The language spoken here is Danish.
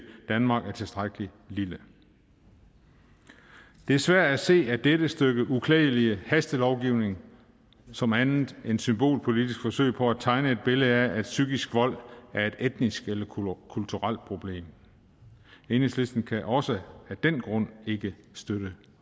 danmark er tilstrækkelig lille det er svært at se dette stykke uklædelig hastelovgivning som andet end et symbolpolitisk forsøg på at tegne et billede af at psykisk vold er et etnisk eller kulturelt problem enhedslisten kan også af den grund ikke støtte